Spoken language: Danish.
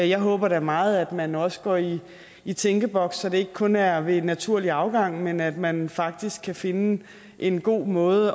jeg håber da meget at man også går i i tænkeboks så det ikke kun er ved naturlig afgang men at man faktisk kan finde en god måde